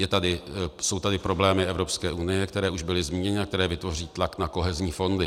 Jsou tady problémy Evropské unie, které už byly zmíněny a které vytvoří tlak na kohezní fondy.